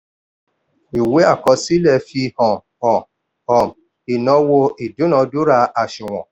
ìwé àkọsílẹ̀ fi um hàn um ìnáwó ìdúnadúrà àsùnwọ̀n.